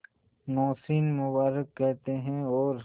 नौशीन मुबारक कहते हैं और